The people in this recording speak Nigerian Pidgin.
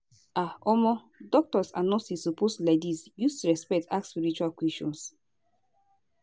ah omo doctors and nurses suppose laidis use respect ask spiritual questions